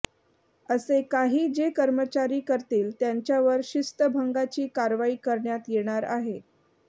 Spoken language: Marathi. असे काही जे कर्मचारी करतील त्यांच्यावर शिस्तभंगाची कारवाई करण्यात येणार आहे